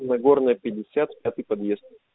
нагорная пятьдесят пятый подъезд